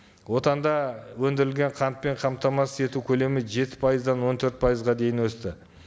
отанда өндірілген қантпен қамтамасыз ету көлемі жеті пайыздан он төрт пайызға дейін өсті